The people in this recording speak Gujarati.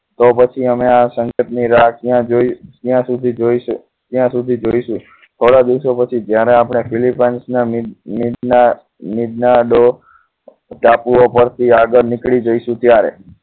તો પછી અમે આ સંકેત ની રાહ ક્યાં જોઈશું ક્યાં સુધી જોઈશે ક્યાં સુધી જોડીશું થોડા દિવસો પછી જયારે આપણે પેલી પાંચના મીડના ટાપુઓ પરથી આગળ નીકળી જઈશું ત્યારે